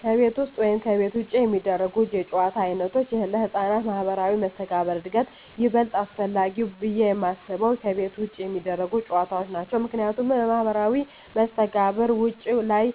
ከቤት ውስጥ ወይም ከቤት ውጭ የሚደረጉ የጨዋታ ዓይነቶች ለሕፃናት ማኅበራዊ መስተጋብር እድገት ይበልጥ አስፈላጊው ብየ የማስበው ከቤት ውጭ የሚደረጉ ጨዎታዎች ናቸው ምክንያቱም ለማህበራዊ መስተጋብር ውጭ ላይ